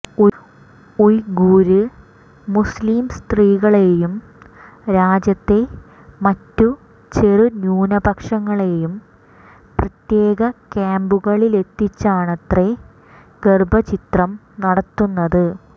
Uyghur മുസ്ലിം സ്ത്രീകളെയും രാജ്യത്തെ മറ്റു ചെറു ന്യൂനപക്ഷങ്ങളെയും പ്രത്യേക ക്യാമ്പുകളിലെത്തിച്ചാണത്രെ ഗര്ഭഛിദ്രം നടത്തുന്നത്